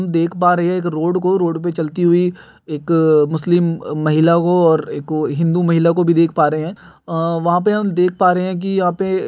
देख पा रहे हैं रोड को रोड पे चलती हुई एक मुस्लिम महिला को और एक हिन्दू महिला को भी देख पा रहा है वहां पे हम देख पा रहे हैं कि यहां पे --